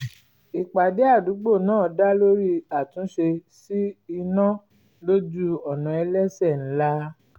ìpàdé àdúgbò náà dá lórí àtúnṣe sí iná lójú ọ̀nà ẹlẹ́sẹ̀ ńlá